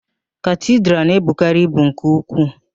Katidral na-ebukarị ibu nke ukwuu.